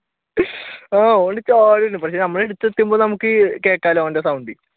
ആഹ്